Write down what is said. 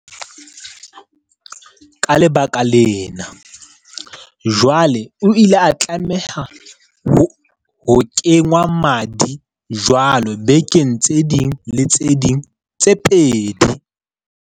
Ka lebaka lena, jwale o ile a tlameha ho kengwa madi jwalo bekeng tse ding le tse ding tse pedi.